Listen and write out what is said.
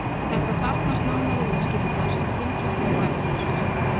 Þetta þarfnast nánari útskýringar sem fylgir hér á eftir.